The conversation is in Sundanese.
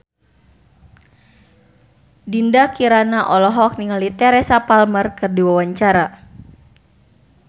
Dinda Kirana olohok ningali Teresa Palmer keur diwawancara